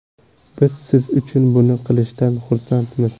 Biz siz uchun buni qilishdan xursandmiz.